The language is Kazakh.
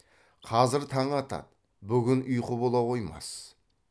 қазір таң атады бүгін ұйқы бола қоймас